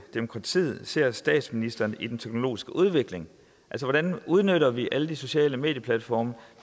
demokratiet ser statsministeren i den teknologiske udvikling altså hvordan udnytter vi alle de sociale medieplatforme